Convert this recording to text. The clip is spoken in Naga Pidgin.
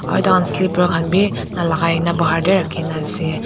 aro tahan sliper khan bi nalakai na bahar tae he rakhina ase.